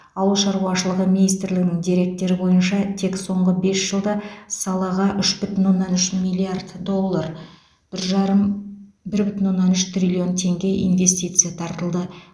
ауыл шаруашылығы министрлігінің деректері бойынша тек соңғы бес жылда салаға үш бүтін оннан үш миллиард доллар бір жарым бір бүтін оннан үш триллион теңге инвестиция тартылды